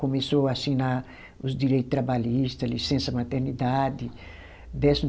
Começou a assinar os direito trabalhista, licença-maternidade, décimo